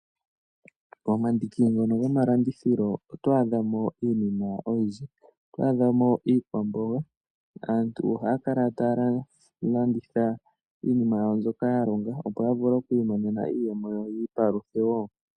Pomandiki ngono gomalandithilo oto adha mo iinima oyindji. Oto adha mo iikwamboga. Aantu ohaya kala taya landitha iinima yawo mbyoka ya longa, opo ya vule oku imonena iiyemo yi ipaluthe wo.